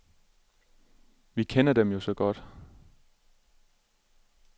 Vi kender dem jo så godt.